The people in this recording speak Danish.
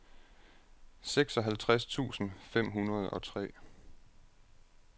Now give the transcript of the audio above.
seksoghalvtreds tusind fem hundrede og tre